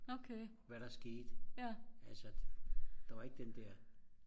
hvad der skete altså der var ikke den der